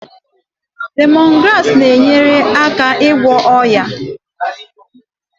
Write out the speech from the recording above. Lemongrass na-enyere aka ịgwọ oyi.